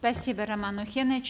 спасибо роман охенович